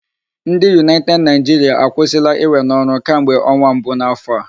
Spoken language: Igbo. Ndị United Nigeria akwụsịla iwe n'ọrụ kamgbe ọnwa mbu n'afọ a.